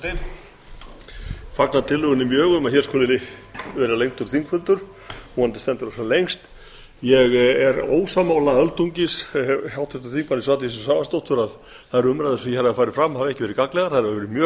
fagna mjög tillögunni um að hér skuli vera lengdur þingfundur vonandi stendur hann sem lengst ég er öldungis ósammála háttvirtum þingmanni svandísi svavarsdóttur um að þær umræður sem hér hafa farið fram hafi ekki verið gagnlegar þær hafa verið mjög